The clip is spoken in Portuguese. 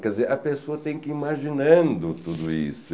Quer dizer, a pessoa tem que ir imaginando tudo isso.